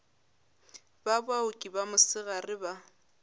ba baoki ba mosegare ba